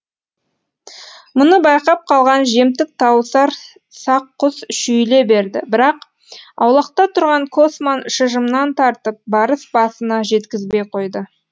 мұны байқап қалған жемтік тауысар сақ құс шүйіле берді бірақ аулақта тұрған косман шыжымнан тартып барыс басына жеткізбей қойды